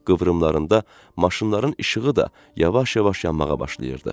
qıvrımlarında maşınların işığı da yavaş-yavaş yanmağa başlayırdı.